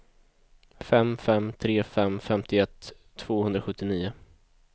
fem fem tre fem femtioett tvåhundrasjuttionio